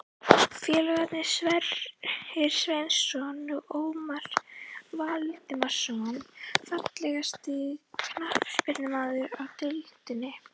Félagarnir Sverrir Sverrisson og Ómar Valdimarsson Fallegasti knattspyrnumaðurinn í deildinni?